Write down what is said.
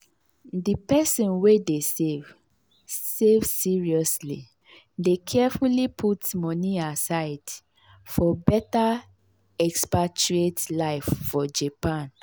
di person wey dey save save seriously dey carefully put moni aside for better expatriate life for japan.